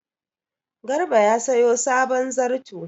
Garba ya sayo sabon zarto.